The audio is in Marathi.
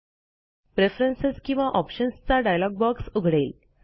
प्रेफरन्स किंवा ऑप्शन्स चा डायलॉग बॉक्स उघडेल